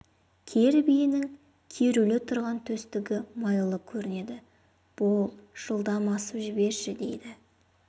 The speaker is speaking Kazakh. кер биенің керулі тұрған төстігі майлы көрінеді бол жылдам асып жіберші дейді